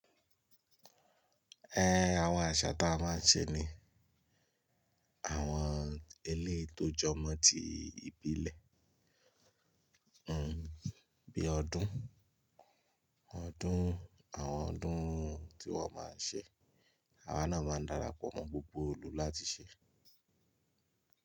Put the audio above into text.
Ẹ̀, àwọn àṣà ta máa ń ṣe ní àwọn eleyi tó jọmọ́ ti ìbílẹ̀, hmmm bí i ọdún, ọdún àwọn ọdún tí wọ́n máa ń ṣe, àwa náà máa ń darapọ̀ mọ́ gbogbo ilú láti ṣe.